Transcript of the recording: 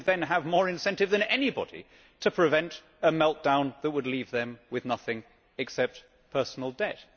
They would then have more incentive than anybody to prevent a meltdown which would leave them with nothing except personal debt.